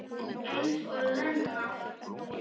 Eins og Lena!